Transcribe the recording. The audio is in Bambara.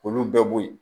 K'olu bɛɛ boyi